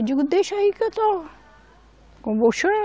Eu digo, deixa aí que eu torro com